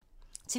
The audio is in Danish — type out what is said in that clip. TV 2